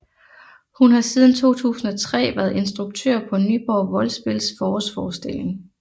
Hun har siden 2003 været instruktør på Nyborg Voldspils forårsforestilling